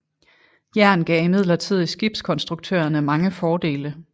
Jern gav imidlertid skibskonstruktørerne mange fordele